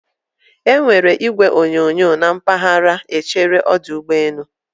E nwere igwe onyonyo na mpaghara echere ọdụ ụgbọ elu